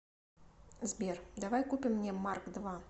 сбер давай купим мне марк два